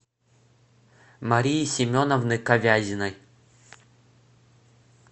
марии семеновны ковязиной